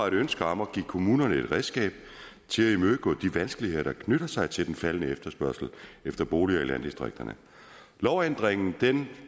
et ønske om at give kommunerne et redskab til at imødegå de vanskeligheder der knytter sig til en faldende efterspørgsel efter boliger i landdistrikterne lovændringen